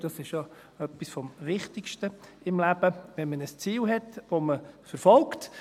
Und das ist ja etwas vom Wichtigsten im Leben, wenn man ein Ziel hat, das man verfolgt.